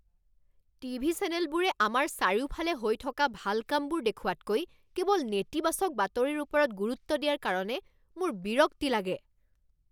TV চেনেলবোৰে আমাৰ চাৰিওফালে হৈ থকা ভাল কামবোৰ দেখুওৱাতকৈ কেৱল নেতিবাচক বাতৰিৰ ওপৰত গুৰুত্ব দিয়াৰ কাৰণে মোৰ বিৰক্তি লাগে।